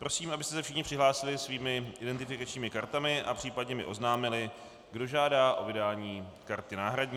Prosím, abyste se všichni přihlásili svými identifikačními kartami a případně mi oznámili, kdo žádá o vydání karty náhradní.